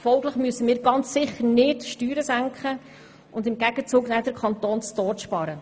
Folglich müssen wir ganz sicher nicht die Steuern senken und im Gegenzug den Kanton zu Tode sparen.